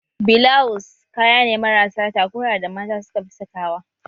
Bilaws kaya ne marasa takura da mata suka fi saka wa